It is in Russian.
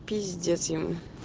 пиздец ему